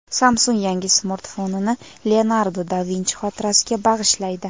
Samsung yangi smartfonini Leonardo da Vinchi xotirasiga bag‘ishlaydi .